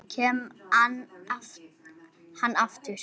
Og kemur hann aftur?